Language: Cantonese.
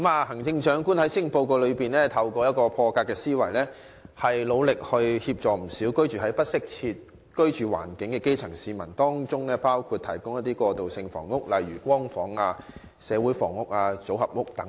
行政長官在施政報告展現破格的思維，提出措施協助不少居住環境欠佳的基層市民，包括提供過渡性房屋，例如"光屋"、"社會房屋"及組合屋等。